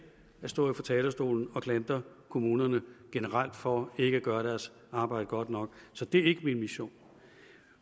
at stå her på talerstolen og klandre kommunerne generelt for ikke at gøre deres arbejde godt nok så det er ikke min mission